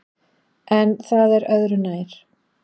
En það er öðru nær.